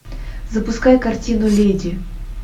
запускай картину леди